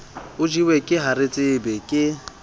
o jewe ke haretsebe ke